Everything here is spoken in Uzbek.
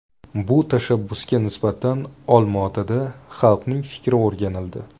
Bu tashabbusga nisbatan Olmaotada xalqning fikri o‘rganildi.